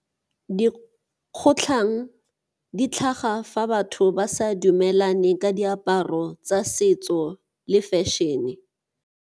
Dikgotlhang di tlhaga fa batho ba sa dumelane ka diaparo tsa setso le fashion-e.